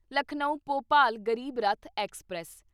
Lucknow Bhopal Garib Rath express